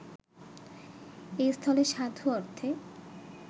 এস্থলে সাধু অর্থে